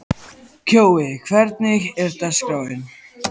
Kjói, hvernig er dagskráin?